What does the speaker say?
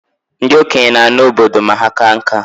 Ndị okenye na-ana obodo ma ha kaa nka